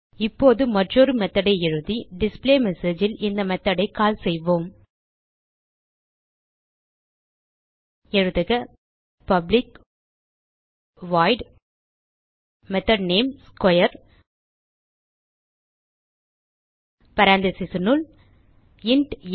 இப்போது மற்றொரு மெத்தோட் ஐ எழுதி டிஸ்பிளேமெஸேஜ் ல் இந்த மெத்தோட் ஐ கால் செய்வோம் எழுதுக public void method name square parenthesesனுள் இன்ட் ஆ